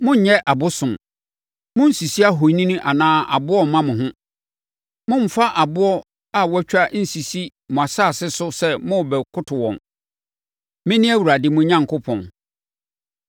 “ ‘Monnyɛ abosom. Monnsisi ahoni anaa aboɔ mma mo ho. Mommfa aboɔ a wɔatwa nsisi mo asase so sɛ morebɛkoto wɔn. Mene Awurade mo Onyankopɔn.